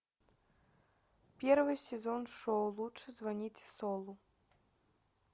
первый сезон шоу лучше звоните солу